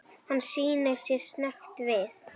Hann snýr sér snöggt við.